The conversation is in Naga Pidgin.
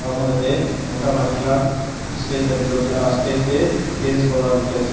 aro moi tatey mota maiki khan stage laga bitor te ah stage te dance kora laga dekhi ase.